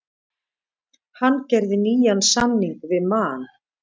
Hann gerði nýjan samning við Man.